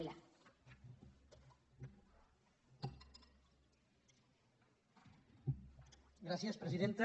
gràcies presidenta